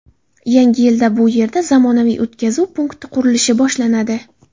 Yangi yilda bu yerda zamonaviy o‘tkazuv punkti qurilishi boshlanadi.